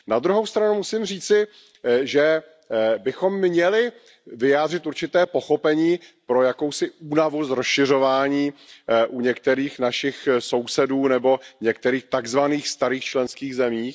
Na druhou stranu musím říci, že bychom měli vyjádřit určité pochopení pro jakousi únavu z rozšiřování u některých našich sousedů nebo některých tak zvaných starých členských zemí.